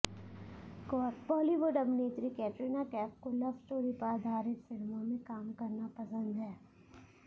बॉलीवुड अभिनेत्री कैटरीना कैफ को love story पर आधारित फिल्मों में काम करना पसंद है